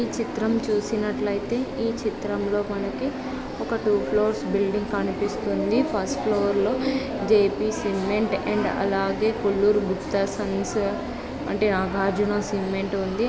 నిన్ను చూసినట్లయితే ఈ చిత్రంలో మనకి ఒక డూప్లోస్ బిల్డింగ్ కనిపిస్తుంది ఫస్ట్ ఫ్లోర్ లో జేపీ సిమెంట్ అండ్ అలాగే Kolluru Buddha Sons and Nagarjuna cement ఉంది.